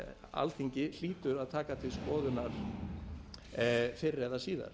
alþingi hlýtur að taka til skoðunar fyrr eða síðar